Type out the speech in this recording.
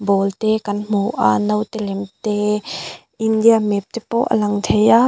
ball te kan hmu a naute lem te india map te pawh a lang thei a.